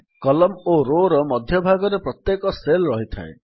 column ଓ Rowର ମଧ୍ୟଭାଗରେ ପ୍ରତ୍ୟେକ ସେଲ୍ ରହିଥାଏ